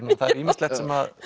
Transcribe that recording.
það er ýmislegt sem